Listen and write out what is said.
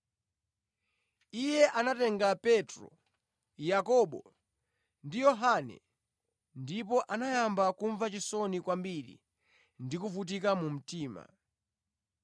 Iye anatenga Petro, Yakobo ndi Yohane, ndipo anayamba kumva chisoni kwambiri ndi kuvutika mu mtima.